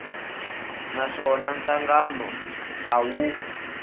na swona nhlangano a wu